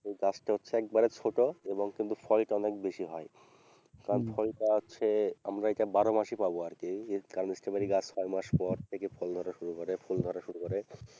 সেই গাছটা হচ্ছে একেবারে ছোট এবং ফলটা অনেক বেশি হয় কারণ ফলটা হচ্ছে আমরা এটা বারোমাসই পাবো আরকি কারণ স্ট্রবেরী গাছ ছয়মাস পর থেকে ফল ধরা শুরু করে ফুল ধরা শুরু করে।